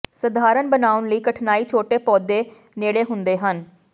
ਸਧਾਰਨ ਬਣਾਉਣ ਲਈ ਕਠਨਾਈ ਛੋਟੇ ਪੌਦੇ ਨੇੜੇ ਹੁੰਦੇ ਹਨ